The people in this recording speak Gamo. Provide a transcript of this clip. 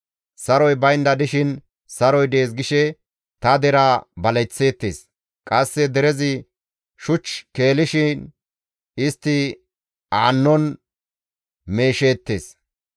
«Saroy baynda dishin, ‹Saroy dees› gishe ta deraa baleththeettes; qasse derezi shuch keelishin istti aannon meesheettes.